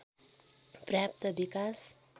पर्याप्त विकास